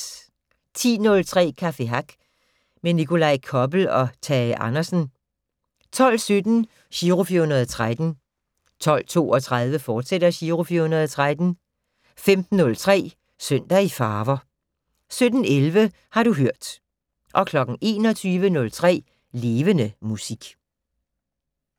10:03: Café Hack med Nikolaj Koppel og Tage Andersen 12:17: Giro 413 12:32: Giro 413, fortsat 15:03: Søndag i Farver 17:11: Har du hørt 21:03: Levende Musik